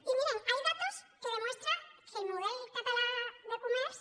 y miren hay datos que demuestran que el model català de comerç